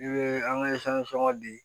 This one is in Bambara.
I bɛ an ka di